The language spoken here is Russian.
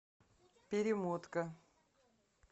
перемотка